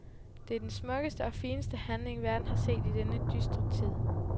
Det er den smukkeste og fineste handling, verden har set i denne dystre tid.